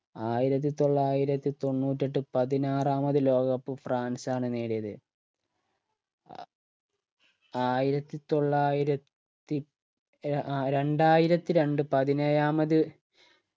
ആയിരത്തി തൊള്ളായിരത്തി തൊണ്ണൂറ്റെട്ട് പതിനാറാമത് ലോക cup ഫ്രാൻസ് ആണ് നേടിയത് ആയിരത്തി തൊള്ളായിരത്തി അഹ് രണ്ടായിരത്തിരണ്ട്‍ പതിനേഴാമത്